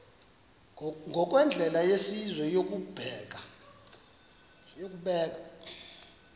ngokwendlela yesizwe yokubeka